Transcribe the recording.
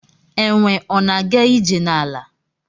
Enwe ọna aga ije na ala?